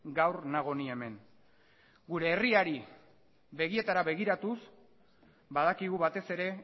gaur nago ni hemen gure herriari begietara begiratuz badakigu batez ere